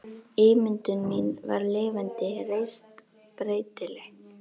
Ímyndun mín var lifandi, reist, breytileg.